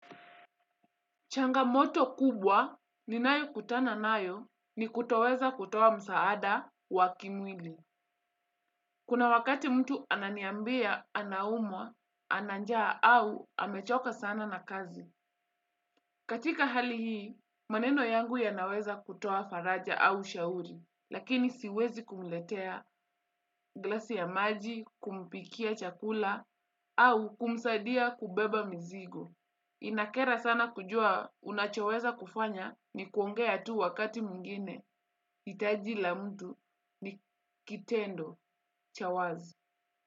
Changamoto kubwa ninayo kutana nayo ni kutoweza kutoa msaada wa kimwili. Kuna wakati mtu ananiambia, anaumwa, ana njaa au amechoka sana na kazi. Katika hali hii, maneno yangu yanaweza kutoa faraja au ushauri. Lakini siwezi kumletea, glasi ya maji, kumpikia chakula au kumsaidia kubeba mzigo. Inakera sana kujua unachoweza kufanya ni kuongea tu wakati mwingine hitaji la mtu ni kitendo. Cha wazi.